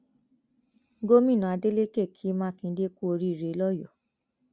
gomina adeleke ki makinde kú oríire lọyọọ